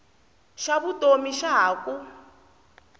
xa vutomi xa ha ku